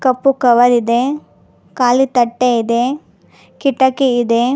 ಕಪ್ಪು cover ಇದೆ ಕಾಲಿ ತಟ್ಟೆ ಇದೆ ಕಿಟಕಿ ಇದೆ.